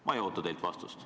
Ma ei oota teilt vastust.